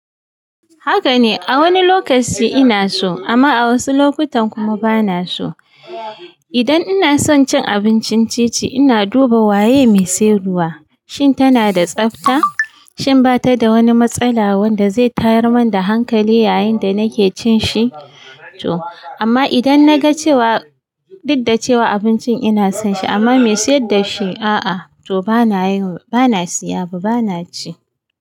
Haka ne, a wani lokaci ina so amma a wasu lokutan kuma bana so. Idan ina son cin abincin ti-ti, ina duba waye mai siyarwa, shin tana da tsafta, shin ba ta da wani matsala wanda zai tayar mani da hankali yayin da nake cin shi. Amma idan na ga cewa, dukdace wa abincin ina son shi amma mai sayar da shi a'a, to bana yi, bana siya ba, bana ci.